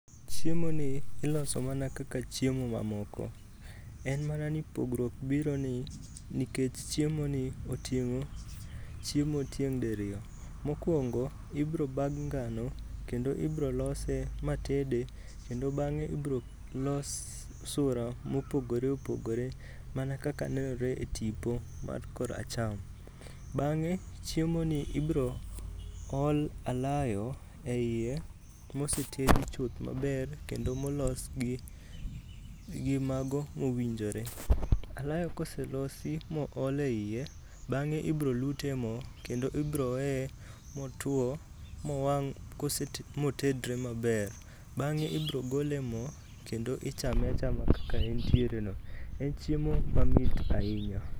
Chiemoni iloso mana kaka chiemo mamoko, en mana ni pogruok biro ni nikech chiemoni oting'o chiemo tieng' diriyo. Mokwongo, ibiro bag ngano, kendo ibiro lose matede kendo bang'e ibiro los sura mopogore opogore mana kaka nenre e tipo man kor acham. Bang'e, chiemoni ibiro ol alayo e iye mosetedi maber kendo molos gi mago mowinjore. Alaf koselosi mool e iye, bang'e ibiro lut e mo, kendo ibiro weye motuwo mowang' motedre maber. Bang'e ibiro gole e mo, kendo ichame achama kaka entiere no. En chiemo mamit ahinya.